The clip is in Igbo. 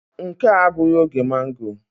Nke a abụghị oge magọ.